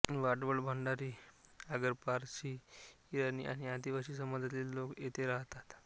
वाडवळ भंडारी आगरीपारसी ईराणी आणि आदिवासी समाजातील लोक येथे राहतात